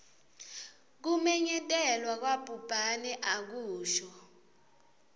kumenyetelwa kwabhubhane akusho